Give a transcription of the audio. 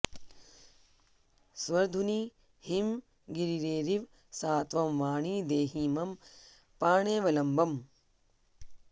स्वर्धुनी हिमगिरेरिव सा त्वं वाणि देहि मम पाण्यवलम्बम्